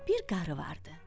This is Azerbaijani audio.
Bir qarı vardı.